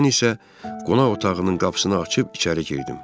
Mən isə qonaq otağının qapısını açıb içəri girdim.